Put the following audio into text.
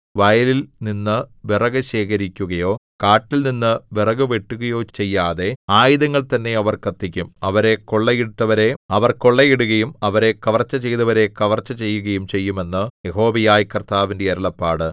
വയലിൽനിന്നു വിറകു ശേഖരിക്കുകയോ കാട്ടിൽനിന്നു വിറകു വെട്ടുകയോ ചെയ്യാതെ ആയുധങ്ങൾ തന്നെ അവർ കത്തിക്കും അവരെ കൊള്ളയിട്ടവരെ അവർ കൊള്ളയിടുകയും അവരെ കവർച്ച ചെയ്തവരെ കവർച്ച ചെയ്യുകയും ചെയ്യും എന്ന് യഹോവയായ കർത്താവിന്റെ അരുളപ്പാട്